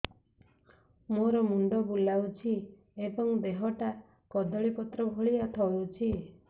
ମୋର ମୁଣ୍ଡ ବୁଲାଉଛି ଏବଂ ଦେହଟା କଦଳୀପତ୍ର ଭଳିଆ ଥରୁଛି